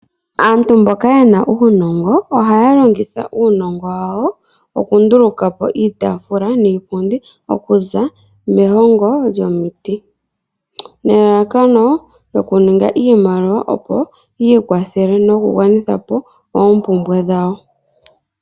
Aantu mboka yena uunongo ohaya longitha uunongo wawo okundulukapo iitafula niipundi okuza mehongo lyomiti. Nelalakano oku ninga iimaliwa yi ikwathele noku gwanitha po oompumbwe dhawo.